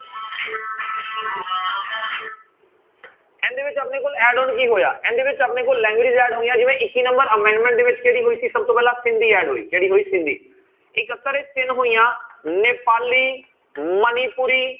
ਇਹਦੇ ਵਿੱਚ ਆਪਣੇ ਕੋਲ add on ਕੀ ਹੋਇਆ ਇਹਦੇ ਵਿੱਚ ਆਪਣੇ ਕੋਲ languages add ਹੋਈਆਂ ਜਿਵੇਂ ਇੱਕੀ number amendment ਦੇ ਵਿੱਚ ਕਿਹੜੀ ਹੋਈ ਸੀ ਸਭ ਤੋਂ ਪਹਿਲਾਂ ਸਿੰਧੀ add ਹੋਈ ਕਿਹੜੀ ਹੋਈ ਸਿੰਧੀ, ਇਕੱਤਰ ਵਿੱਚ ਤਿੰਨ ਹੋਈਆਂ ਨੇਪਾਲੀ, ਮਨੀਪੁਰੀ